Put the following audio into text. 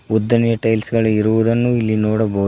ಉದ್ದನೆಯ ಟೈಲ್ಸ್ ಗಳಿರುವುದನ್ನು ಇಲ್ಲಿ ನೋಡಬಹುದು.